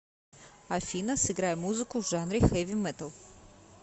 афина сыграй музыку в жанре хэви метал